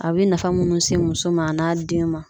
A bɛ nafa munnu se muso ma a n'a den ma.